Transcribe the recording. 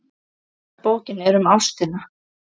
Fyrsta bókin er um ástina.